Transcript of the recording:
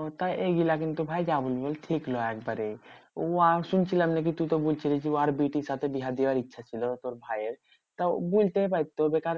ও তা এগুলা কিন্তু ভাই যা বলিস ঠিক নয় একবারে। উ আর শুনছিলাম নাকি তুই তো বলছিলিস যে উ আর বিটুর সাথে বিহা দেওয়ার ইচ্ছা ছিল তোর ভাইয়ের। তা উ বলতেই পারতো বেকার